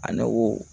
A ne ko